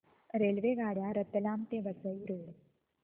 रेल्वेगाड्या रतलाम ते वसई रोड